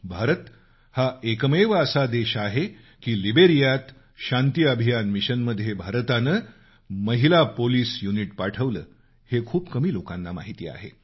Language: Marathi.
भारत हा एकमेव देश असा आहे की लीब्रियात शांतीअभियान मिशनमध्ये भारतानं महिला पोलीस युनिट पाठवलं हे खूप कमी लोकांना माहिती आहे